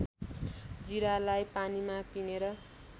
जिरालाई पानीमा पिनेर